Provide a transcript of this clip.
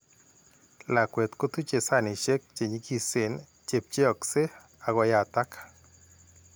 Lakwet kotuche sanisiek che nyigisen che pcheakse ak koyatak.